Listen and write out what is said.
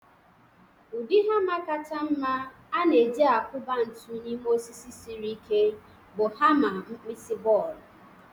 Ụdị hama kacha mma a na-e-ji akuba ntu n'ime osisi siri ike bụ hama nkpisi bọọlụ.